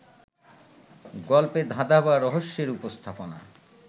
গল্পে ধাঁধা বা রহস্যের উপস্থাপনা